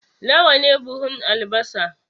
Nawa ne buhun albasa?